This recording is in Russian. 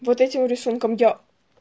вот этим рисунком я